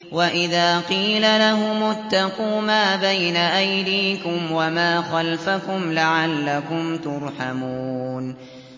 وَإِذَا قِيلَ لَهُمُ اتَّقُوا مَا بَيْنَ أَيْدِيكُمْ وَمَا خَلْفَكُمْ لَعَلَّكُمْ تُرْحَمُونَ